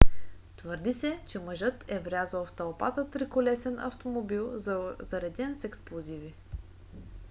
твърди се че мъжът е врязал в тълпата триколесен автомобил зареден с експлозиви